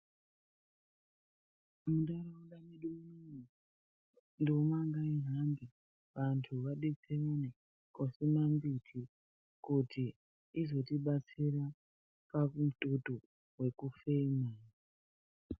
Muntharaunda mwedu munomu, nduma ngaihambe, vanthu vadetserane koosima mbiti, kuti izotibatsira pamututu wekufema.